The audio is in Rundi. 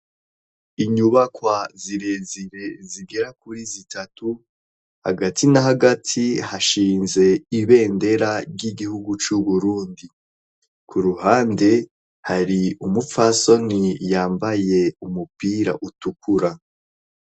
Inyubakwa zirezire zigera kuri zitatu hagati na hagati hashinze ibendera ry'igihugu c'uburundi, ku ruhande hari umupfasoni yambaye umupira utukura.